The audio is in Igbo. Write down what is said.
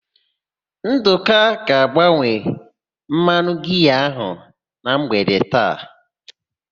Ndụka ga-agbanwe mmanụ giaa ahụ na mgbede taa.